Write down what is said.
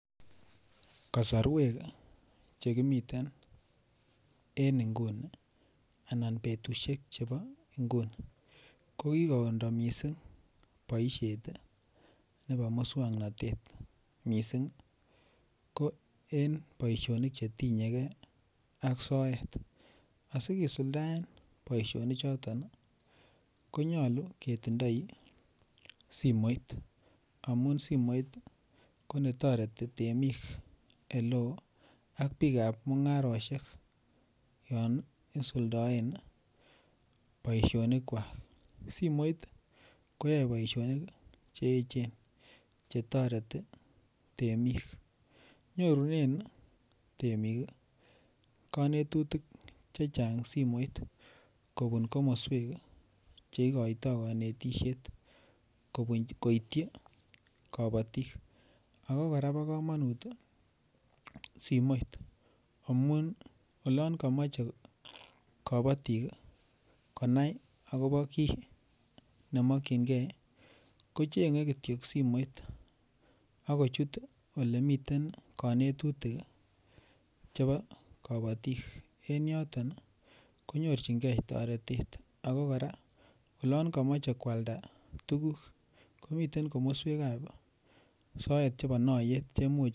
Kasarwek Che kimiten en nguni anan betusiek chebo nguni kokikondo mising boisiet nebo moswoknatet mising ko en boisionik Che tinye ge ak soet asi kisuldaen boisionichuto ko nyolu ketindoi simoit amun simoit ko ne toreti temik oleo ak bikap mungarosiek yon isuldoen boisionik kwak simoit koyoe boisionik Che echen Che toreti temik nyorunen temik konetutik chechang simoit kobun komoswek Che igoitoi konetisiet koityi kabatik ago kora ko bo kamanut simoit amun olon komoche kabatik konai agobo kii ne mokyingei ko chengei Kityo simoit ak kochut Ole miten konetutik chebo kabatik en yoton konyorchigei toretet ak kora olon komoche koalda tuguk komiten komoswek chebo soet chebo naayeet Che Imuch koboisien